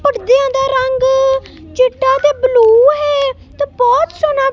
ਪੜਦਿਆਂ ਦਾ ਰੰਗ ਚਿੱਟਾ ਤੇ ਬਲੂ ਹੈ ਤੇ ਬਹੁਤ ਸੋਹਣਾ--